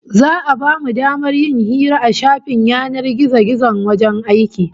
Za'a bamu damar yin hira a shafin yanar gizon wajen aiki